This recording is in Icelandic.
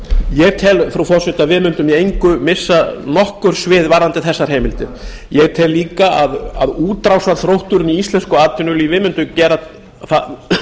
ég tel frú forseti að við mundum í engu missa nokkurs við varðandi þessar heimildir ég tel líka að útrásarþrótturinn í íslensku atvinnulífi mundi gera það